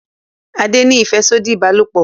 Ade ní afẹsodi ìbálòpọ̀